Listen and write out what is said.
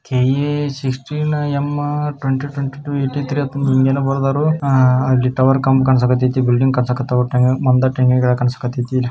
K A sixteen M twenty twenty two ninety three ಏನೊ ಬರದಾರು ಆ ಅಲ್ಲಿ ಟವರ್ ಕಮ್ ಕಾಣ್ಸಕ್ ಐತಿಥಿ ಬಿಲ್ಡಿಂಗ್ ಕಾಣ್ಸಕ್ಐತಿತಿ ಒಟ್ಟಾಗ ಮನ್ದಟ್ ಕಾಣ್ಸಕ್ಐತಿತಿ